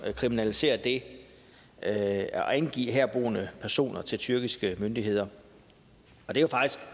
kriminaliserer det at angive herboende personer til tyrkiske myndigheder